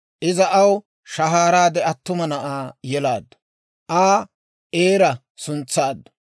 Iza aw shahaaraade attuma na'aa yelaaddu; Aa Eera suntsaaddu.